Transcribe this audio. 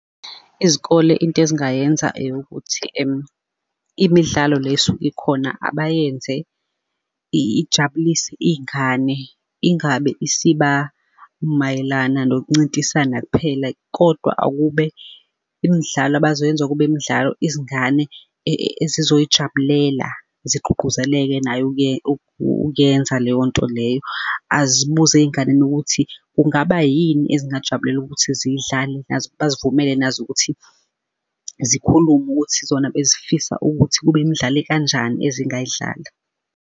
Izikole into ezingayenza eyokuthi. imidlalo le esuke ikhona abayenze ijabulise iy'ngane, ingabe isiba mayelana nokuncintiswana kuphela, kodwa akube imidlalo abazoyenza kube imidlalo izingane ezizoyijabulela, zigqugquzeleke nayo ukuyenza leyo nto leyo, zibuze ey'nganeni ukuthi kungaba yini ezingajabulela ukuthi ziyidlale nazo? Bazivumele nazo ukuthi zikhulume ukuthi zona besifisa ukuthi kube imidlalo ekanjani ezingayidlala.